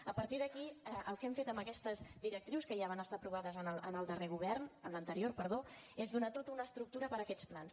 a partir d’aquí el que hem fet amb aquestes directrius que ja van estar aprovades en l’anterior govern és donar tota una estructura per a aquests plans